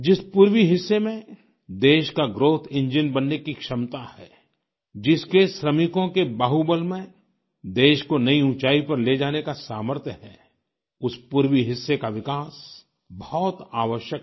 जिस पूर्वी हिस्से में देश का ग्राउथ इंजीन बनने की क्षमता है जिसके श्रमिकों के बाहुबल में देश को नई ऊँचाई पर ले जाने का सामर्थ्य है उस पूर्वी हिस्से का विकास बहुत आवश्यक है